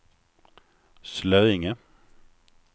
Slöinge